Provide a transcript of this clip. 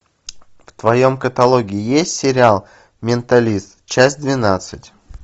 в твоем каталоге есть сериал менталист часть двенадцать